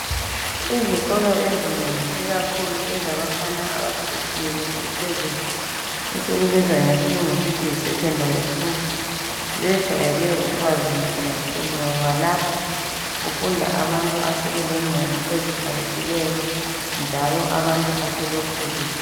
Izikolo ezinengi ikakhulu ezabafana abasezingeni eliphezulu esikubiza ngesilungu sithi yi secondary school zejwayele ukuba zinhle kakhulu, ngoba lapha kufunda abantu asebelengqondo ezikhaliphileyo njalo abantu asebekhulile.